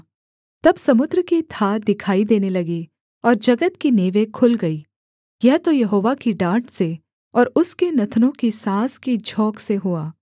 तब समुद्र की थाह दिखाई देने लगी और जगत की नेवें खुल गईं यह तो यहोवा की डाँट से और उसके नथनों की साँस की झोंक से हुआ